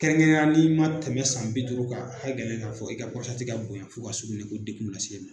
Kɛrɛnkɛrɛnna n'i ma tɛmɛ san bi duuru ka hakɛ gɛlɛn k'a fɔ i ka ka bonya fo ka sugunɛ ko degun lase i ma